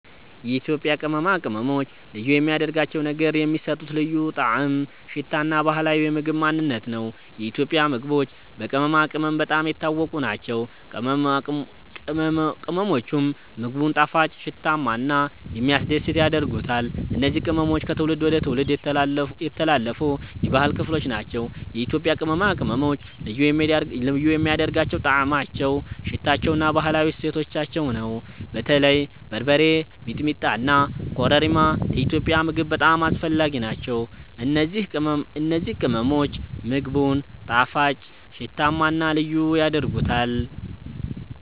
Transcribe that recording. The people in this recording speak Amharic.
የኢትዮጵያ ቅመማ ቅመሞች ልዩ የሚያደርጋቸው ነገር የሚሰጡት ልዩ ጣዕም፣ ሽታ እና ባህላዊ የምግብ ማንነት ነው። የኢትዮጵያ ምግቦች በቅመማ ቅመም በጣም የታወቁ ናቸው፤ ቅመሞቹም ምግቡን ጣፋጭ፣ ሽታማ እና የሚያስደስት ያደርጉታል። እነዚህ ቅመሞች ከትውልድ ወደ ትውልድ የተላለፉ የባህል ክፍል ናቸው። የኢትዮጵያ ቅመማ ቅመሞች ልዩ የሚያደርጋቸው ጣዕማቸው፣ ሽታቸው እና ባህላዊ እሴታቸው ነው። በተለይ በርበሬ፣ ሚጥሚጣ እና ኮረሪማ ለኢትዮጵያዊ ምግብ በጣም አስፈላጊ ናቸው። እነዚህ ቅመሞች ምግቡን ጣፋጭ፣ ሽታማ እና ልዩ ያደርጉታል።